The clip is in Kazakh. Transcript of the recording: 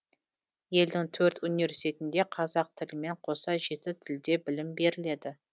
елдің төрт университетінде қазақ тілімен қоса жеті тілде білім беріледі